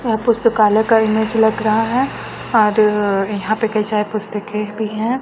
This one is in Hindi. यह पुस्तकालय का इमेज लग रहा है और यहां पे कई सारे पुस्तकें भी हैं।